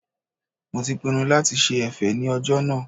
Mo ti pinnu lati ṣe ẹ̀fẹ̀ ní ọjọ́ náà